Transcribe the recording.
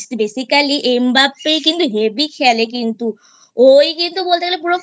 Basically M Mbappe কিন্তু হেব্বি খেলে কিন্তু ওই কিন্তু তো বলতে গেলে